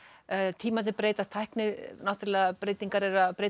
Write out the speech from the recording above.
tímarnir breytast tæknibreytingar náttúrulega eru að breyta